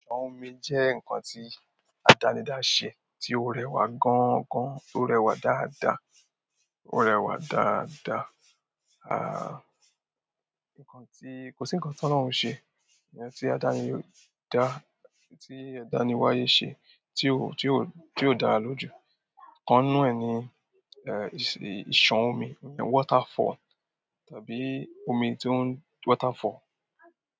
Omi jẹ́ ǹkan tí àdánidá ṣe, tí ó rẹwà gan gan, ó rẹwà dáadáa, ó rẹwà dáadáa. Àń, ǹkan tí kò sí ǹkan t'ọlọrun ṣe, ǹkan tí àdánidá, tí àdániwáyé ṣe tí ó ti ó ti ó dára lójú ikan náà ni, ẹ́, ìṣàn omi, water fall tàbí omi tó ń water fall.